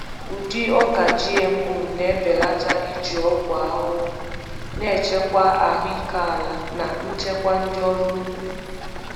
Ụdị ọka GMO Ụdị ọka GMO na-ebelata iji ọgwụ ahụhụ, na-echekwa ahụike ala na nchekwa ndị ọrụ ugbo.